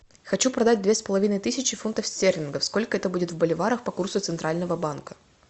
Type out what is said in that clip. хочу продать две с половиной тысячи фунтов стерлингов сколько это будет в боливарах по курсу центрального банка